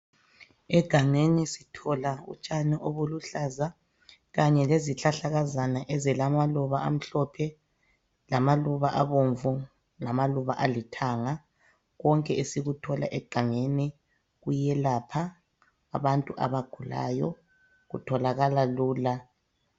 Egangeni sithola utshani obuluhlaza kanye lezihlahlakazana ezilamaluba amhlophe lamaluba abomvu lamaluba alithanga .Konke esikuthola egangeni kuyelapha abantu abagulayo kutholakala lula.